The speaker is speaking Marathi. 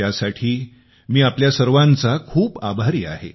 त्यासाठी मी आपल्या सर्वांचा खूप आभारी आहे